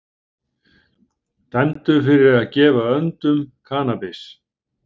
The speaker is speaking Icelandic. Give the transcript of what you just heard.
Dæmdur fyrir að gefa öndum kannabis